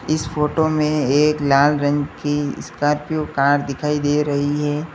इस फोटो में एक लाल रंग की स्कॉर्पियो कार दिखाई दे रही है।